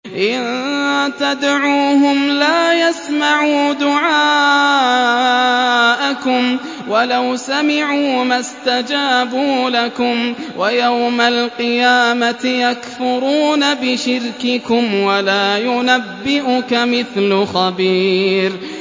إِن تَدْعُوهُمْ لَا يَسْمَعُوا دُعَاءَكُمْ وَلَوْ سَمِعُوا مَا اسْتَجَابُوا لَكُمْ ۖ وَيَوْمَ الْقِيَامَةِ يَكْفُرُونَ بِشِرْكِكُمْ ۚ وَلَا يُنَبِّئُكَ مِثْلُ خَبِيرٍ